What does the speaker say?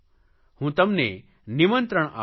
હું તમને નિમંત્રણ આપું છું